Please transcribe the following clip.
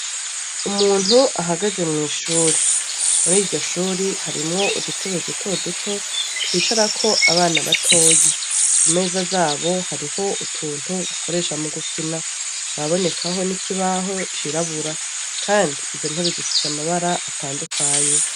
Umuntu ahagaze mw'ishuri muriryo shuri harimwo udutebe dutoduto twicarako abana batoyi imeza zabo hariho utuntu bakoresha mu gukina haraboneka n'ikibaho cirabura kandi izo ntebe zifise amabara atandukanye.